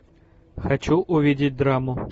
хочу увидеть драму